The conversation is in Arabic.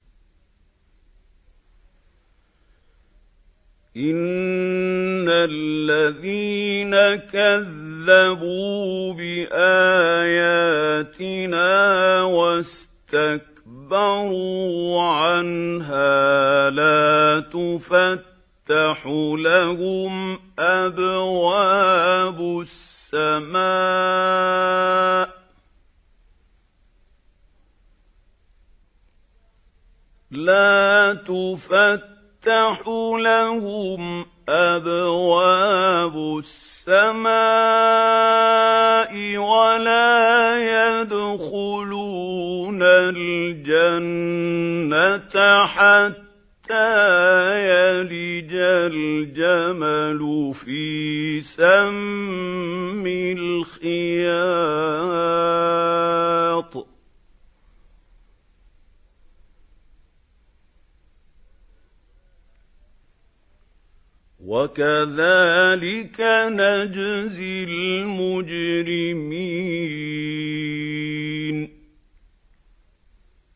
إِنَّ الَّذِينَ كَذَّبُوا بِآيَاتِنَا وَاسْتَكْبَرُوا عَنْهَا لَا تُفَتَّحُ لَهُمْ أَبْوَابُ السَّمَاءِ وَلَا يَدْخُلُونَ الْجَنَّةَ حَتَّىٰ يَلِجَ الْجَمَلُ فِي سَمِّ الْخِيَاطِ ۚ وَكَذَٰلِكَ نَجْزِي الْمُجْرِمِينَ